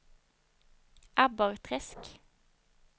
Abborrträsk